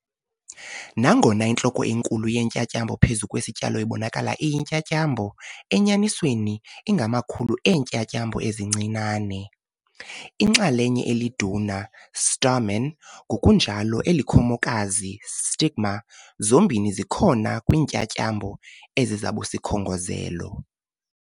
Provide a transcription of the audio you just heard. Nangona intloko enkulu yentyatyambo phezu kwesityalo ibonakala iyintyatyambo, enyanisweni ingamakhulu eentyatyambo ezincinane. Inxalenye eliduna, stamen, ngokunjalo elikhomokazi, stigma, zombini zikhona kwiintyatyambo ezisabusikhongozelo.